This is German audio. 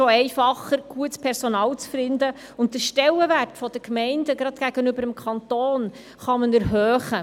Es ist auch einfacher, gutes Personal zu finden, und man kann den Stellenwert der Gemeinden, gerade gegenüber dem Kanton, erhöhen.